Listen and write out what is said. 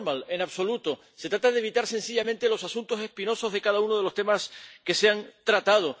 En absoluto. Se trata de evitar sencillamente los asuntos espinosos de cada uno de los temas que se han tratado.